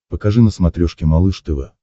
покажи на смотрешке малыш тв